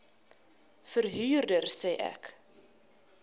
verhuurder sê ek